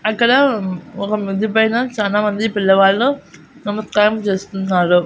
అక్కడ ఒక మిద్దెపైన చానామంది పిల్లవాళ్ళు నమస్కారం చేస్తున్నారు.